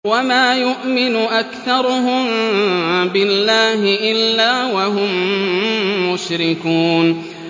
وَمَا يُؤْمِنُ أَكْثَرُهُم بِاللَّهِ إِلَّا وَهُم مُّشْرِكُونَ